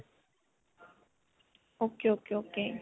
ok. ok. ok.